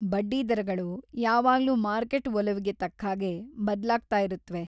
ಬಡ್ಡಿದರಗಳು ಯಾವಾಗ್ಲೂ ಮಾರ್ಕೆಟ್‌ ಒಲವಿಗೆ ತಕ್ಹಾಗೆ ಬದ್ಲಾಗ್ತಾಯಿರುತ್ವೆ.